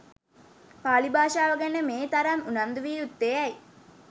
පාලි භාෂාව ගැන මේ තරම් උනන්දු විය යුත්තේ ඇයි?